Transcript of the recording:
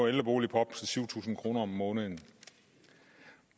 ældrebolig på op til syv tusind kroner om måneden